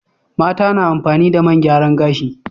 Mata na amfani da man gyaran gashi.